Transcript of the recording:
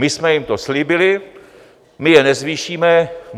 My jsme jim to slíbili, my je nezvýšíme.